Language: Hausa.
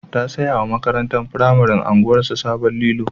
Ta saya wa makatantar firamare unguwarsu sabon lilo.